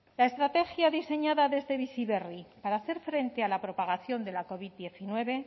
la estrategia diseñada desde bizi berri para hacer frente a la propagación de la covid diecinueve